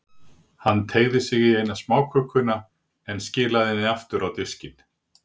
Hann teygði sig í eina smákökuna, en skilaði henni aftur á diskinn.